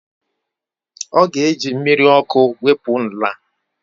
Ọ ga-eji mmiri ọkụ wepụ nla